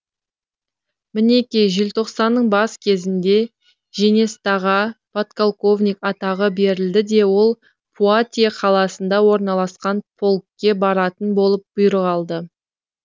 мінеки желтоқсанның бас кезінде женестаға подполковник атағы берілді де ол пуатье қаласында орналасқан полкке баратын болып бұйрық алды